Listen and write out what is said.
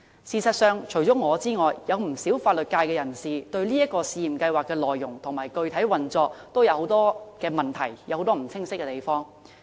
事實上，除了我之外，不少法律界人士對這個試驗計劃的內容和具體運作，也有很多疑問和不清晰的地方。